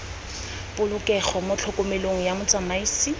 polokego mo tlhokomelong ya motsamaisi